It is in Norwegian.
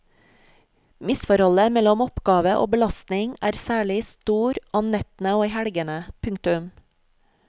Misforholdet mellom oppgave og belastning er særlig stor om nettene og i helgene. punktum